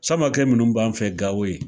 Samakɛ minnu b'an fɛ Gawo yen